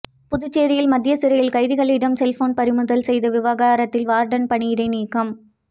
புதுச்சேரி மத்திய சிறையில் கைதிகளிடம் செல்போன் பறிமுதல் செய்த விவிகாரத்தில் வார்டன் பணியிடை நீக்கம்